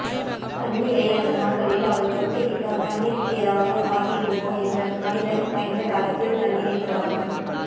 தண்ணீரை அந்த நாட்களில் அவள் தொட்டுவிட்டாள் தண்ணீருக்கு ஏதாவது ஆகிவிடுமோ என்று மனிதன் பயந்தக் காலத்தில் தண்ணீரைத் தொடாமல்